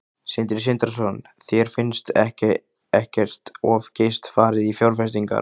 Sindri Sindrason: Þér finnst ekkert of geyst farið í fjárfestingar?